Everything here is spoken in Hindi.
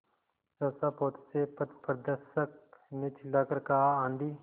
सहसा पोत से पथप्रदर्शक ने चिल्लाकर कहा आँधी